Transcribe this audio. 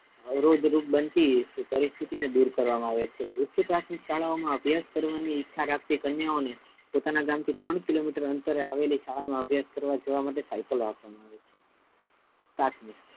અવરોધરૂપ બનતી પરિસ્સ્થી ને દૂર કરવા મા આવે છે ઉચ્ચ પ્રાથમિક શાળાઓ મા અભ્યાસ કરવાની ઈચ્છા રાખતી કન્યાઓને પોતાના ગામ થી ત્રણ કિલોમીટર અંતરે આવેલી શાળાઓ મા અભ્યાસ કરવા જવા માટે સાયકલઓ આપવા મા આવે છે સાતમુ,